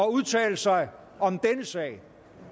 udtale sig om denne sag